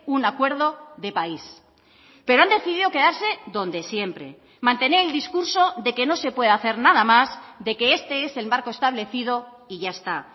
un acuerdo de país pero han decidido quedarse donde siempre mantener el discurso de que no se puede hacer nada más de que este es el marco establecido y ya está